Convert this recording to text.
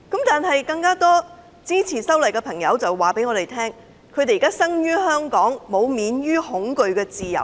但是，更多支持修例的朋友告訴我，他們生於香港，但他們並沒有免於恐懼的自由。